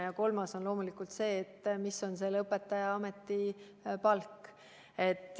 Ja kolmas on loomulikult see, mis on õpetaja ametipalk.